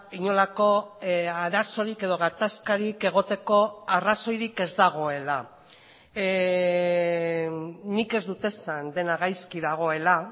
inolako arazorik edo gatazkarik egoteko arrazoirik ez dagoela nik ez dut esan dena gaizki dagoela